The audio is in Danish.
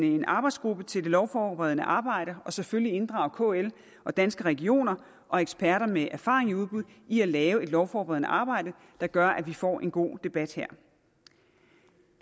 en arbejdsgruppe til det lovforberedende arbejde og selvfølgelig inddrage kl og danske regioner og eksperter med erfaring i udbud i at lave et lovforberedende arbejde der gør at vi får en god debat her